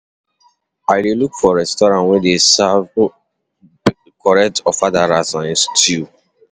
I dey look for restaurant wey dey serve correct ofada rice and stew.